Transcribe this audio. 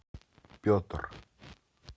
петр